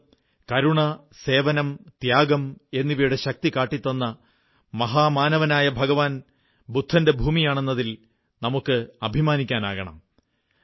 ഭാരതം കരുണ സേവനം ത്യാഗം എന്നിവയുടെ ശക്തി കാട്ടിത്തന്നെ മഹാമാനവനായ ഭഗവാൻ ബുദ്ധന്റെ ഭൂമിയാണെന്നതിൽ നമുക്കഭിമാനിക്കാനാകണം